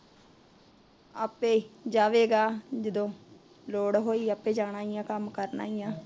ਆਪੇ ਜਾਵੇਗਾ ਜਦੋ ਲੋੜ ਹੋਈ ਆਪੇ ਜਾਣਾ ਈ ਏ ਕੱਮ ਕਰਨਾ ਈ ਏ